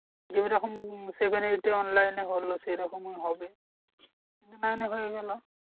যে ঐরকম seven এ তে online এ হলো সেইরকমই হবে। nine এ হয়ে গেলো।